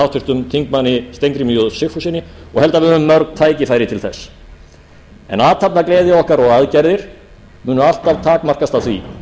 háttvirtum þingmönnum steingrími j sigfússyni og held að við höfum mörg tækifæri til þess en athafnagleði okkar og aðgerðir munu alltaf takmarkast af því